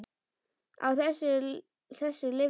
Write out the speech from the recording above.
Á þessu lifðu þau.